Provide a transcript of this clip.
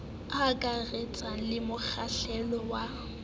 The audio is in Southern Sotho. e akaretsang le mokgahlelo wa